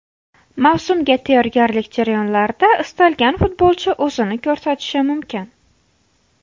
Mavsumga tayyorgarlik jarayonlarida istalgan futbolchi o‘zini ko‘rsatishi mumkin.